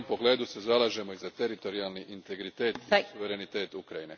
U tom pogledu se zalažemo i za teritorijalni integritet i suverenitet Ukrajine.